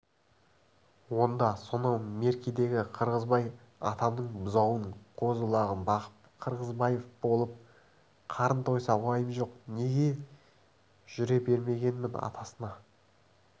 онда сонау меркедегі қырғызбай атамның бұзауын қозы-лағын бағып қырғызбаев болып қарын тойса уайым жоқ неге жүре бермегенмін атасына